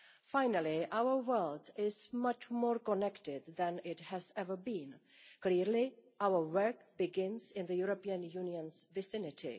Finally, our world is much more connected than it has ever been. Clearly our work begins in the European Union's vicinity.